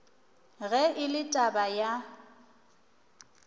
ge e le taba ya